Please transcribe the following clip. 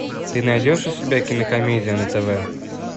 ты найдешь у себя кинокомедия на тв